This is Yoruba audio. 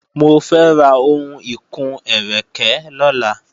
Mo fẹ́ ra ohun ìkun-ẹ́rẹ̀kẹ́ lọ́la